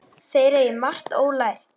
Þeir eigi margt ólært.